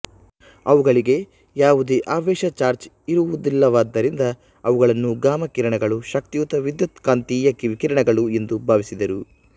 ಅವುಗಳಿಗೆ ಯಾವುದೇ ಆವೇಶ ಚಾರ್ಜ್ ಇರುವುದಿಲ್ಲವಾದ್ದರಿಂದ ಅವುಗಳನ್ನು ಗಾಮ ಕಿರಣಗಳು ಶಕ್ತಿಯುತ ವಿದ್ಯುತ್ಕಾಂತೀಯ ವಿಕಿರಣಗಳು ಎಂದು ಭಾವಿಸಿದರು